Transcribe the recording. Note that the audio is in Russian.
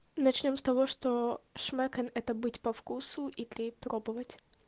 начнём с того что шмэкэн это быть по вкусу и крей пробовать